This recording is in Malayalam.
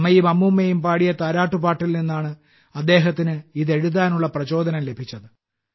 അമ്മയും അമ്മൂമ്മയും പാടിയ താരാട്ട് പാട്ടിൽ നിന്നാണ് അദ്ദേഹത്തിന് ഇതെഴുതാനുള്ള പ്രചോദനം ലഭിച്ചത്